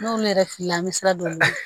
N'olu yɛrɛ filila an bɛ sira don olu la